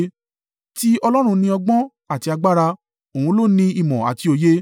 “Ti Ọlọ́run ni ọgbọ́n àti agbára; òun ló ni ìmọ̀ àti òye.